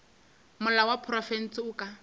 molao wa profense o ka